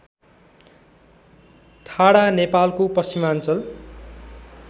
ठाडा नेपालको पश्चिमाञ्चल